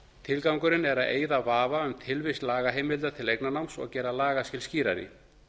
tilgangurinn er að eyða vafa um tilvist lagaheimildar til eignarnáms og gera lagaskil skýrari